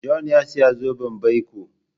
John ya saya zoben baiko.